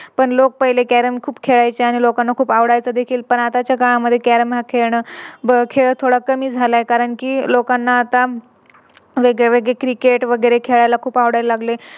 पण लोक पहिले Carrom खूप खेळायचे आणि लोकांना खूप आवडायचा देखील पण आताच्या काळामध्ये Carrom हा खेळ थोडा कमी झाला आहे कारण कि लोकांना वेगळेवेगळे Cricket वगैरे खेळायला खूप आवडायला लागले